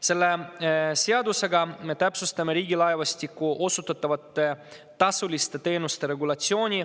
Selle seadusega me täpsustame Riigilaevastiku osutatavate tasuliste teenuste regulatsiooni.